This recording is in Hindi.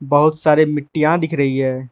बहुत सारे मिट्टीया दिख रही है।